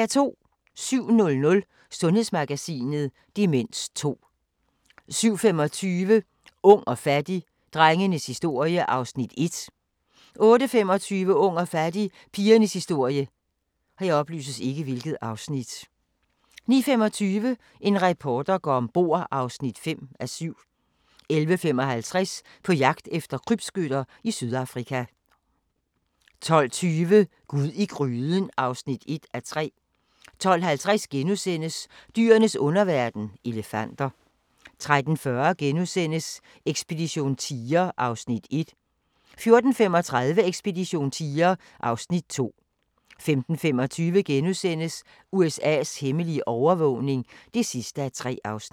07:00: Sundhedsmagasinet: Demens 2 07:25: Ung og fattig - drengenes historie (Afs. 1) 08:25: Ung og fattig – pigernes historie 09:25: En reporter går om bord (5:7) 11:55: På jagt efter krybskytter i Sydafrika 12:20: Gud i gryden (1:3) 12:50: Dyrenes underverden – elefanter * 13:40: Ekspedition tiger (Afs. 1)* 14:35: Ekspedition tiger (Afs. 2) 15:25: USA's hemmelige overvågning (3:3)*